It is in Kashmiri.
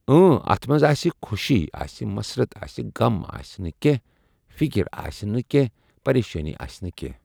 امٔ اَتھ منٛز آسہِ خوشی آسہِ مسّرت آسہِ غم آسہِ نہٕ کینٛہہ فِکِر آسہِ نہٕ کینٛہہ پریشٲنی آسہِ نہٕ کینٛہہ۔